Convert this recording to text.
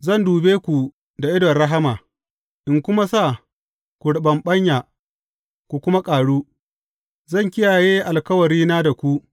Zan dube ku da idon rahama, in kuma sa ku riɓaɓɓanya ku kuma ƙaru, zan kiyaye alkawarina da ku.